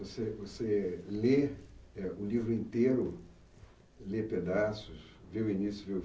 Você você lê é o livro inteiro, lê pedaços, vê o início, vê o fim.